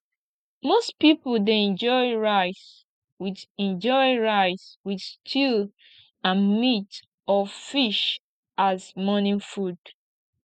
most pipo dey enjoy rice with enjoy rice with stew and meat or fish as morning food